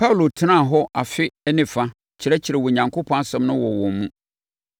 Paulo tenaa hɔ afe ne fa kyerɛkyerɛɛ Onyankopɔn asɛm no wɔ wɔn mu.